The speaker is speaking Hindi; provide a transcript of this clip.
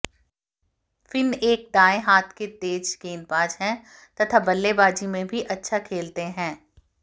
फिन एक दाएँ हाथ के तेज गेंदबाज है तथा बल्लेबाजी में भी अच्छा खेलते हैं